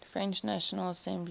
french national assembly